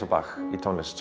í tónlist